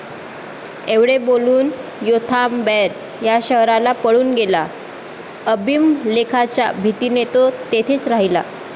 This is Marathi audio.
एवढे बोलून योथाम बैर या शहराला पळून गेला. अबीमलेखाच्या भीतीने तो तेथेच राहिला.